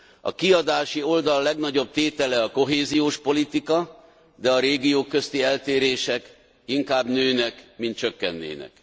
A kiadási oldal legnagyobb tétele a kohéziós politika, de a régiók közti eltérések inkább nőnek, mint csökkennének.